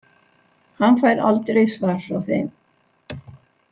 Hann fær aldrei svar frá þeim.